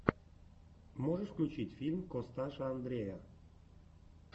можешь включить фильм косташа андрея